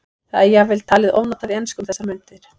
Það er jafnvel talið ofnotað í ensku um þessar mundir.